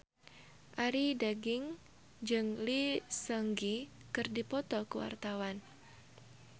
Arie Daginks jeung Lee Seung Gi keur dipoto ku wartawan